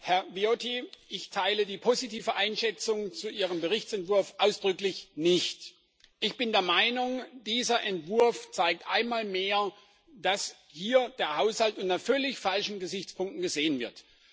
Herr Viotti, ich teile die positive Einschätzung zu Ihrem Berichtsentwurf ausdrücklich nicht. Ich bin der Meinung, dieser Entwurf zeigt einmal mehr, dass hier der Haushalt unter völlig falschen Gesichtspunkten gesehen wird.